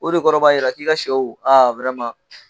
O de kɔrɔ b'a jira k'i ka sɛw a